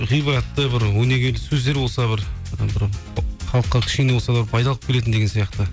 ғибратты бір өнегелі сөздер болса бір бір халыққа кішкене болса да пайда алып келетін деген сияқты